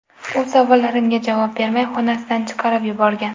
U savollarimga javob bermay, xonasidan chiqarib yuborgan.